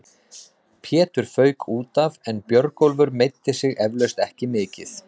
Pétur fauk útaf en Björgólfur meiddi sig eflaust ekki mikið.